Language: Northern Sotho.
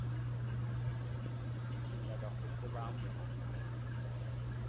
ke nyaka go tseba mma